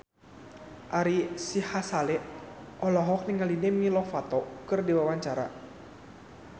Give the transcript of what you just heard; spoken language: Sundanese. Ari Sihasale olohok ningali Demi Lovato keur diwawancara